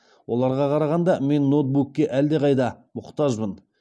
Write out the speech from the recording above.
оларға қарағанда мен ноутбукке әлдеқайда мұқтажбын